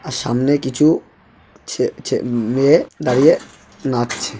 আ-- সামনে কিছু ছে--ছে মেয়ে-- দাঁড়িয়ে নাচছে।